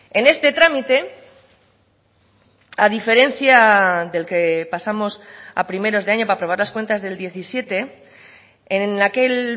en este trámite a diferencia del que pasamos a primeros de año para aprobar las cuentas del diecisiete en aquel